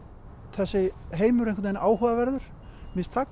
þessi heimur áhugaverður það